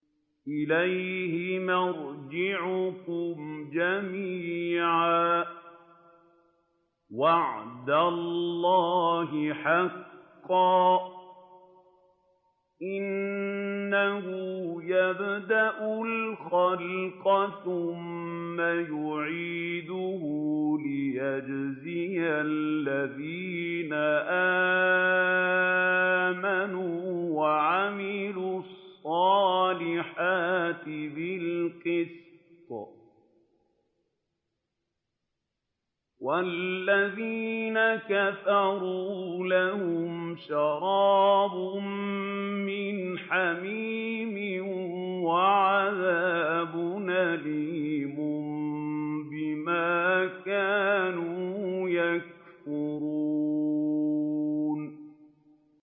إِلَيْهِ مَرْجِعُكُمْ جَمِيعًا ۖ وَعْدَ اللَّهِ حَقًّا ۚ إِنَّهُ يَبْدَأُ الْخَلْقَ ثُمَّ يُعِيدُهُ لِيَجْزِيَ الَّذِينَ آمَنُوا وَعَمِلُوا الصَّالِحَاتِ بِالْقِسْطِ ۚ وَالَّذِينَ كَفَرُوا لَهُمْ شَرَابٌ مِّنْ حَمِيمٍ وَعَذَابٌ أَلِيمٌ بِمَا كَانُوا يَكْفُرُونَ